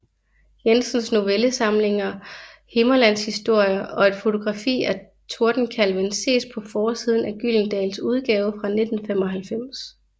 Jensens novellesamlinger Himmerlandshistorier og et fotografi af Tordenkalven ses på forsiden af Gyldendals udgave fra 1995